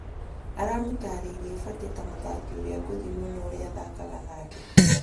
Aramũtarĩirie Batĩ ta mũthaki ũrĩa ngũthi mũno ũrĩa anathaka nake.